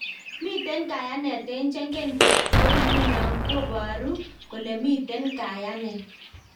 Miten kayanet eng chegen, ko igunon koparur kole miten kayanet.